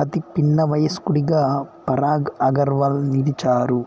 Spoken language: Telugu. అతి పిన్నవయస్కుడిగా పరాగ్ అగర్వాల్ నిలిచారు